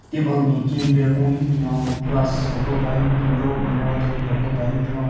Table gen cane beer kenhun hyu binyon glass bottle paha hyu binyon ro mineral water bottle paha hyu binyon.